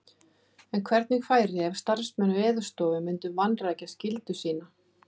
En hvernig færi ef starfsmenn Veðurstofu myndu vanrækja skyldu sína?